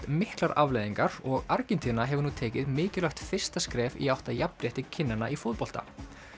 miklar afleiðingar og Argentína hefur nú tekið mikilvægt fyrsta skref í átt að jafnrétti kynjanna í fótbolta